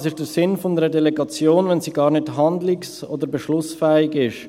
Was ist der Sinn einer Delegation, wenn sie gar nicht handlungs- oder beschlussfähig ist?